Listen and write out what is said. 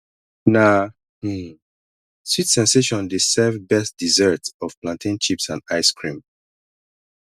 na um sweet sensation dey serve best dessert of plantain chips and ice cream